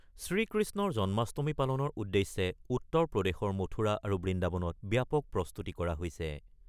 শ্ৰীকৃষ্ণৰ জন্মাষ্টমী পালনৰ উদ্দেশ্যে উত্তৰ প্ৰদেশৰ মথুৰা আৰু বৃন্দাবনত ব্যাপক প্ৰস্তুতি কৰা হৈছে।